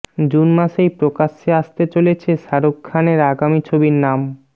June মাসেই প্রকাশ্যে আসতে চলেছে শাহরুখ খানের আগামী ছবির নাম